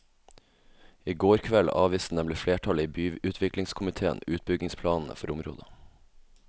I går kveld avviste nemlig flertallet i byutviklingskomitéen utbyggingsplanene for området.